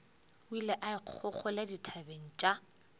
o ile kgolekgole dithabeng tša